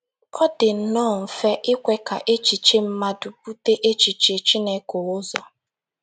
Ọ dị nnọọ mfe ikwe ka echiche mmadụ bute echiche Chineke ụzọ.